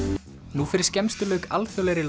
nú fyrir skemmstu lauk alþjóðlegri